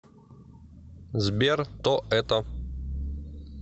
сбер то это